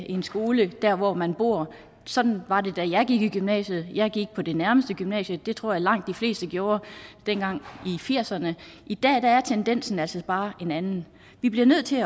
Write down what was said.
en skole der hvor man bor sådan var det da jeg gik i gymnasiet jeg gik på det nærmeste gymnasie det tror jeg langt de fleste gjorde dengang i nitten firserne i dag er tendensen altså bare en anden vi bliver nødt til